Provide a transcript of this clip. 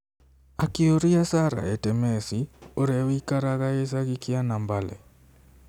akĩũria Sarah Etemesi, ũrĩa ũikaraga gĩcagi kĩa Nambale.